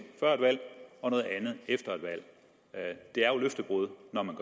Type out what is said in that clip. før et valg og noget andet efter et valg det er jo løftebrud